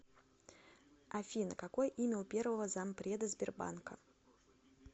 афина какое имя у первого зампреда сбербанка